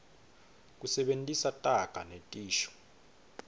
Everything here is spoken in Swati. kusebentisa taga netisho